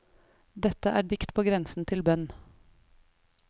Dette er dikt på grensen til bønn.